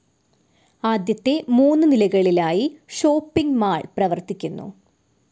ആദ്യത്തെ മൂന്ന് നിലകളിലായി ഷോപ്പിംഗ്‌ മാൾ പ്രവർത്തിക്കുന്നു.